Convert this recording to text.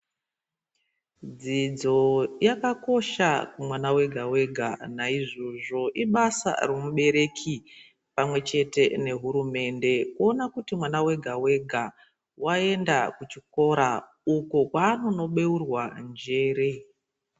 Dzidzo yakakosha kumwana wega-wega naizvozvo ibasa romubereki pamwechete nehurumende kuona kuti mwana wega-wega waenda kuchikora uko kwaanono beurwa njere.